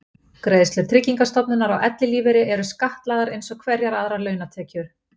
Greiðslur Tryggingastofnunar á ellilífeyri eru skattlagðar eins og hverjar aðrar launatekjur.